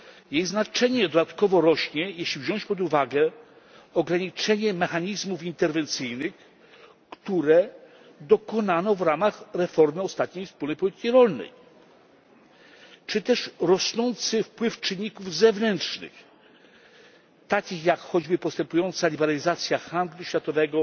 Jej znaczenie dodatkowo rośnie, jeśli wziąć pod uwagę ograniczenie mechanizmów interwencyjnych, którego dokonano w ramach reformy ostatniej wspólnej polityki rolnej, czy też rosnący wpływ czynników zewnętrznych, takich jak choćby postępująca liberalizacja handlu światowego